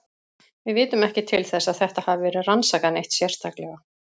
Við vitum ekki til þess að þetta hafi verið rannsakað neitt sérstaklega.